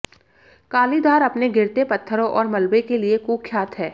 कालीधार अपने गिरते पत्थरों और मलबे के लिए कुख्यात है